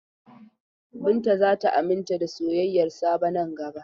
Binta za ta aminta da soyayyar Sabo nan gaba.